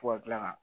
Fo ka kila ka